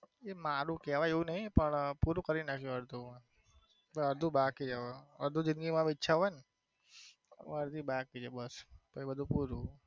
એ મારુ કેવાય એવું નથી પૂરું કરી નાખિયું અડધું અડધું બાકી છે હવે અડધું જિંદગી માં ઈચ્છા હોય ને અડધી બાકી છે બસ પછી બધું પૂરું.